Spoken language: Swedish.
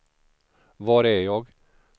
var är jag